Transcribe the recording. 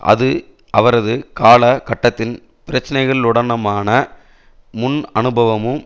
அது அவரது கால கட்டத்தின் பிரச்சினைகளுடனமான முன் அனுபவமும்